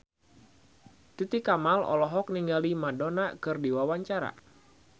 Titi Kamal olohok ningali Madonna keur diwawancara